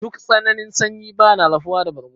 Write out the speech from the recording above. Duk tsananin sanyi bana rufuwa da bargo.